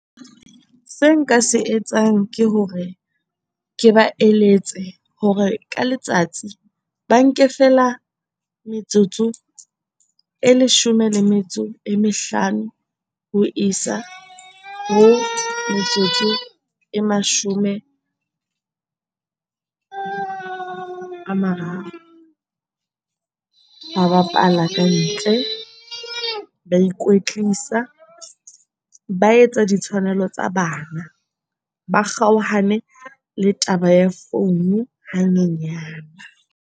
Se nka se etsang ke hore, ke ba eletse hore ka letsatsi ba nke feela metsotso e leshome le metso e mehlano ho isa ho metsotso e mashome a mararo. Ba bapala ka ntle ba ikwetlisa ba etsa ditshwanelo tsa bana, ba kgaohane le taba ya founu ha nyenyane.